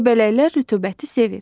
Göbələklər rütubəti sevir.